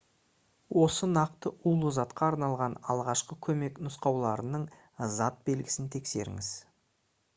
осы нақты улы затқа арналған алғашқы көмек нұсқауларының затбелгісін тексеріңіз